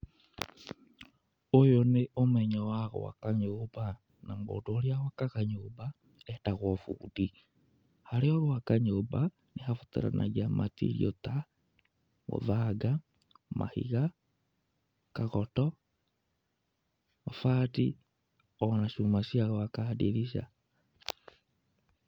Ũyũ nĩ ũmenyo wa gwaka nyũmba, na mũndũ ũrĩa wakaga nyũmba etagwo bundi. Harĩa ũgwaka nyũmba, nĩhabataranagia material ta mũthanga, mahiga, kagoto, mabati ona cuma cia gwaka ndirica.